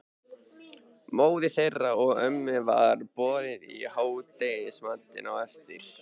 Móður þeirra og ömmu var boðið í hádegismatinn á eftir.